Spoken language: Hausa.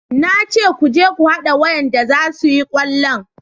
Na ce ku je ku hada wayanda za su yi kwallon